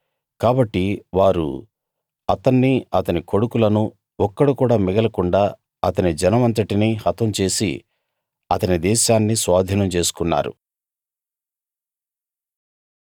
కాబట్టి వారు అతన్ని అతని కొడుకులను ఒక్కడు కూడా మిగలకుండా అతని జనం అంతటినీ హతం చేసి అతని దేశాన్ని స్వాధీనం చేసుకున్నారు